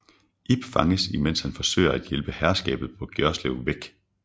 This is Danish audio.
Ib fanges imens han forsøger at hjælpe herskabet på Gjorslev væk